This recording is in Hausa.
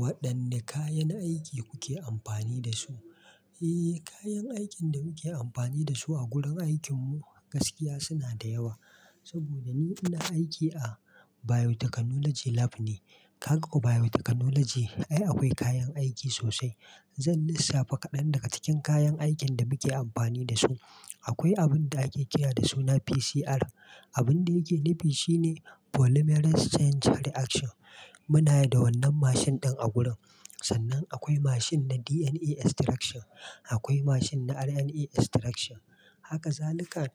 Waɗanne kayan aiki kuke amfani da su? Eh, kayan aikin da muke amfani da su a gurin aikinmu gaskiya suna da yawa. Saboda ni ina aiki a biotechnology lab ne. Kaga biotechnology, ai akwai kayan aiki sosai. Zan lissafa kaɗan daga cikin kayan aikin da muke amfani da su. Akwai abun da ake kira da suna PCR. Abun da yake nufi shine polymerase chain reaction. Muna da wannan mashin ɗin a gurin. Sannan akwai mashin na DNA extraction, akwai mashin na RNA extraction. Haka zalika,